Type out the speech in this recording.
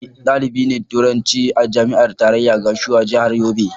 Ni dalibi ne na Turanci a Jami'ar Tarayya Gashua, Jihar Yobe.